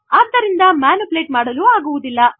ಆದ್ದರಿಂದ ಮ್ಯಾನಿಪುಲೇಟ್ ಮಾಡಲು ಆಗುವುದಿಲ್ಲ